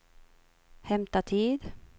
hämta tid